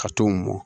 Ka t'o mɔ